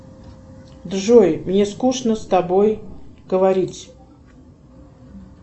джой мне скучно с тобой говорить